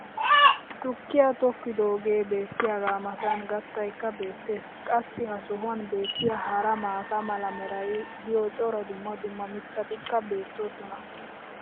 tukkiyaa tokkidoogee beetiyaagaa matan gattaykka beetees. qassi ha sohuwan beetiya hara maata mala meray diyo cora dumma dumma mitatikka beetoosona.